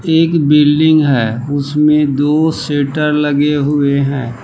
एक बिल्डिंग है उसमें दो सेटर लगे हुए है।